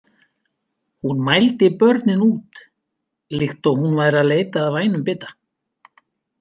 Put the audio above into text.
Hún mældi börnin út líkt og hún væri að leita að vænum bita.